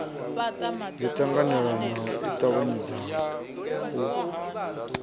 yo ṱanganelano i ṱavhanyaho u